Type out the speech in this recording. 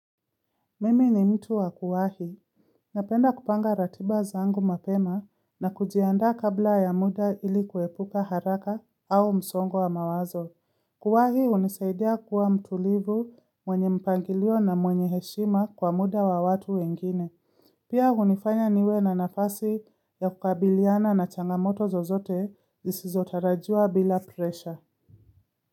Mimi ni mtu wakuwahi. Napenda kupanga ratiba zangu mapema na kujiandaa kabla ya muda ilikuepuka haraka au msongo wa mawazo. Kuwahi hunisaidia kuwa mtulivu mwenye mpangilio na mwenye heshima kwa muda wa watu wengine. Pia hunifanya niwe na nafasi ya kukabiliana na changamoto zozote zisizo tarajiwa bila presha.